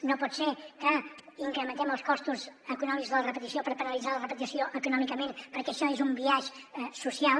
no pot ser que incrementem els costos econòmics de la repetició per penalitzar la repetició econòmicament perquè això és un biaix social